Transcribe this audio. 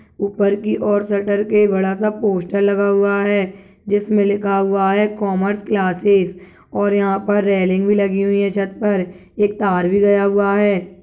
ऊपर की और शटर के बड़ा सा पोस्टर लगा हुआ है जिसमे लिखा हुआ है कॉमर्स क्लासेस और यहाँ पर रेलिंग भी लगी हुई है छत पर एक तार भी गया हुआ है।